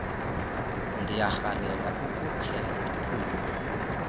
ndiyarhalela ukukhe ndiphume